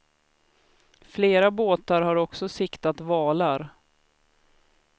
Flera båtar har också siktat valar.